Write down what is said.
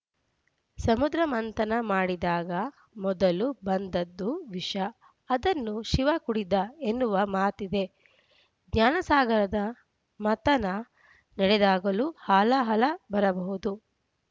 ಸಮುದ್ರಮಥನ ಮಾಡಿದಾಗ ಮೊದಲು ಬಂದ್ದದ್ದು ವಿಷ ಅದನ್ನು ಶಿವ ಕುಡಿದ ಎನ್ನುವ ಮಾತಿದೆ ಜ್ಞಾನಸಾಗರದ ಮಥನ ನಡೆದಾಗಲೂ ಹಾಲಾಹಲ ಬರಬಹುದು